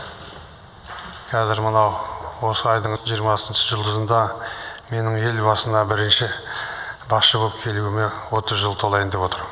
кәзір мынау осы айдың жиырмасыншы жұлдызында менің ел басына бірінші басшы боп келуіме отыз жыл толайын деп отыр